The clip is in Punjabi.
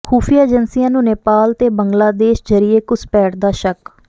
ਖ਼ੁਫ਼ੀਆ ਏਜੰਸੀਆਂ ਨੂੰ ਨੇਪਾਲ ਤੇ ਬੰਗਲਾਦੇਸ਼ ਜ਼ਰੀਏ ਘੁਸਪੈਠ ਦਾ ਸ਼ੱਕ